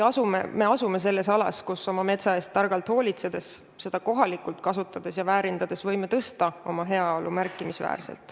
Me asume alas, kus oma metsa eest targalt hoolitsedes, seda kohapeal kasutades ja väärindades võime tõsta oma heaolu märkimisväärselt.